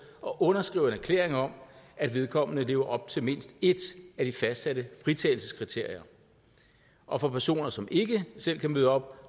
og underskriver en erklæring om at vedkommende lever op til mindst et af de fastsatte fritagelseskriterier og for personer som ikke selv kan møde op